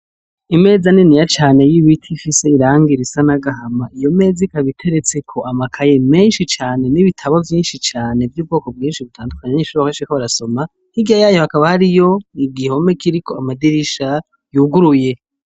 Imeza niniya cane y'ibiti ifisiz'irangi risa n'agahama iyo meza ikab'iteretseko amakaye menshi cane n'ibitabo vyinshi cane vy'ubwoko bwinshi butandukanye abanyeshure benshi bariko barasoma , hirya yayo hakaba hariyo igihome kiriko amadirisha yuguruye.